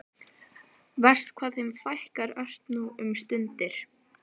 Verst hvað þeim fækkar ört nú um stundir.